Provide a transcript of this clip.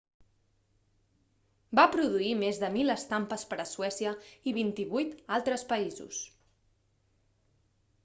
va produir més de 1.000 estampes per a suècia i 28 altres països